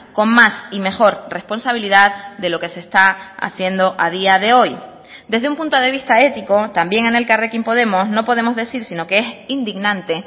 con más y mejor responsabilidad de lo que se está haciendo a día de hoy desde un punto de vista ético también en elkarrekin podemos no podemos decir sino que es indignante